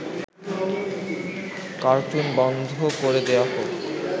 cartoon বন্ধ করে দেয়া হোক